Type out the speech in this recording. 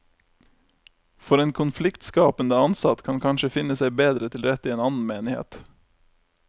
For en konfliktskapende ansatt kan kanskje finne seg bedre til rette i en annen menighet.